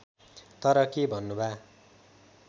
तर के भन्नुभा